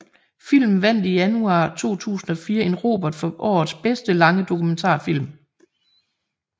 Filmen vandt i januar 2004 en Robert for årets bedste lange dokumentarfilm